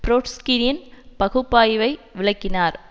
ட்ரொட்ஸ்கியின் பகுப்பாய்வை விளக்கினார்